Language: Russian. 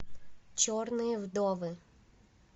черные вдовы